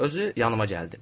Özü yanıma gəldi.